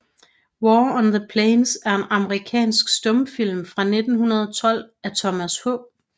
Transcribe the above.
War on the Plains er en amerikansk stumfilm fra 1912 af Thomas H